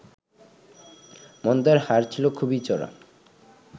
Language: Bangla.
মন্দার হার ছিল খুবই চড়া